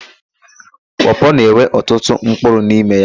Pọọpọọ na-enwe ọtụtụ mpkụrụ n'ime ya.